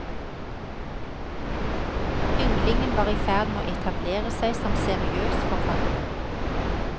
Ynglingen var i ferd med å etablere seg som seriøs forfatter.